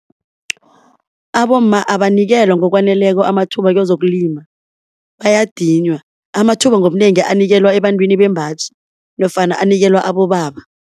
Abomma abanikelwa ngokwaneleko amathuba kezokulima bayadinywa. Amathuba ngobunengi anikelwa ebantwini bembaji nofana anikelwa abobaba.